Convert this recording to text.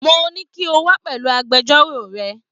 Mo ní kí o wá pẹ̀lú agbẹjọ́rò rẹ